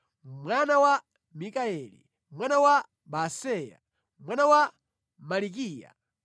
mwana wa Mikayeli, mwana wa Baaseya, mwana wa Malikiya,